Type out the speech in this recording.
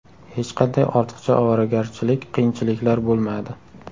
Hech qanday ortiqcha ovoragarchilik, qiyinchiliklar bo‘lmadi.